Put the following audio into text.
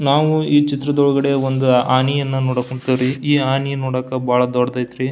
ನಾವು ಈ ಚಿತ್ರದೊಳಗಡೆ ಒಂದು ಆನೆಯನ್ನ ನೋಡಕ್ ಹೋನ್ತಿವ್ರಿ ಈ ಆನೆ ನೋಡಕ್ ಬಹಳ ದೊಡ್ಡದೈತ್ರಿ.